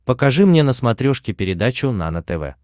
покажи мне на смотрешке передачу нано тв